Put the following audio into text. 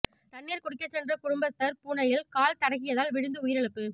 தண்ணீர் குடிக்க சென்ற குடும்பஸ்தர் பூனையில் கால் தடக்கியதால் விழுந்து உயிரிழந்தார்